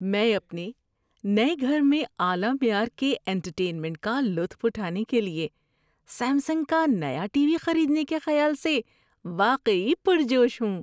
میں اپنے نئے گھر میں اعلی معیار کے انٹرٹینمنٹ کا لطف اٹھانے کے لیے سیمسنگ کا نیا ٹی وی خریدنے کے خیال سے واقعی پرجوش ہوں۔